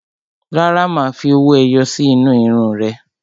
Rárá, má fi owó ẹyọ sí inú irun ún rẹ